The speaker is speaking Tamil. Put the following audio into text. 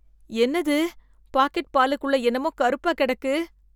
என்னது பாக்கெட் பாலுக்குள்ள என்னமோ கருப்பா கிடக்கு?